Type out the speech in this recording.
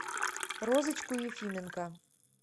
розочку ефименко